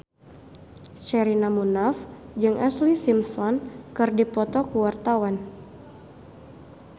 Sherina Munaf jeung Ashlee Simpson keur dipoto ku wartawan